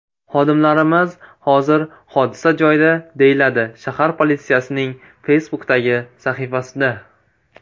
Xodimlarimiz hozir hodisa joyida”, deyiladi shahar politsiyasining Facebook’dagi sahifasida.